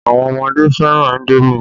Àwọn ọmọdé fẹ́ràn indomi